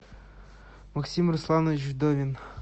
максим русланович вдовин